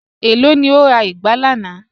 Ẹ̀ló ni o rà igbà lànà?